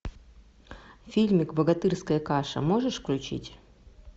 фильмик богатырская каша можешь включить